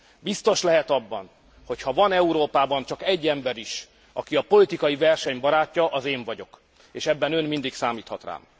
Biztos lehet abban, hogyha van Európában csak egy ember is, aki a politikai verseny barátja, az én vagyok, és ebben ön mindig számíthat rám.